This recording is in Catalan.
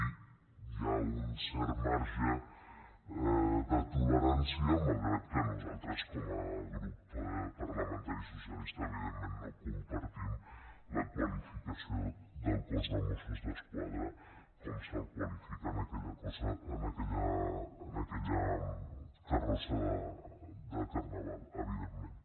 i hi ha un cert marge de tolerància malgrat que nosaltres com a grup parlamentari socialista evidentment no compartim la qualificació del cos de mossos d’esquadra com se’l qualifica en aquella carrossa de carnaval evidentment